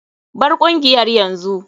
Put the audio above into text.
Bar kungiyar yanzu.